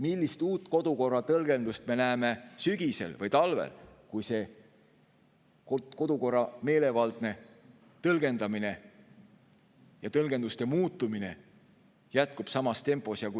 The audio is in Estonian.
Millist uut kodukorra tõlgendust me näeme sügisel või talvel, kui kodukorra meelevaldne tõlgendamine või tõlgenduste muutumine jätkub samas tempos?